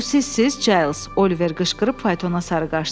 Bu sizsiz, Giles, Oliver qışqırıb faytona sarı qaçdı.